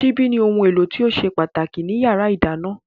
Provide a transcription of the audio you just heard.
Ṣíbí ni ohun èlò tó ṣe pàtàkì ní yàrá ìdáná